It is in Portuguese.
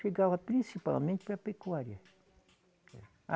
Chegava principalmente para a pecuária.